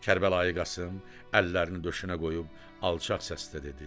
Kərbəlayı Qasım əllərini döşünə qoyub alçaq səslə dedi: